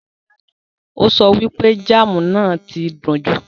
Ó so wípé jáámù náà ti dùn jù.